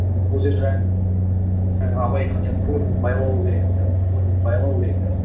ол жер абай айтқан сияқты көңілдің байлауы керек те көңілдің байлауы керек те